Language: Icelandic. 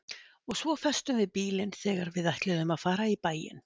Og svo festum við bílinn þegar við ætluðum að fara í bæinn.